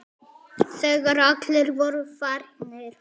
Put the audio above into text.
Þegar allir voru farnir.